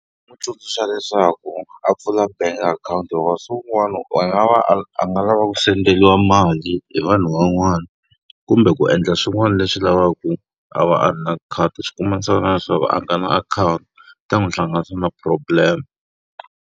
N'wi tsundzuxa leswaku a pfula bank account hikuva siku rin'wana a va a a nga lava ku senderiwa mali hi vanhu van'wana, kumbe ku endla swin'wana leswi lavaka a va a ri na khadi swi kuma leswaku a nga na akhawunti. Swi ta n'wi hlanganisa na problem.